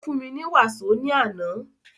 Ó fún mi ní wàsó ní àná.